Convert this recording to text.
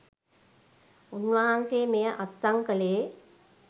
උන්වහන්සේ මෙය අත්සන් කළේ.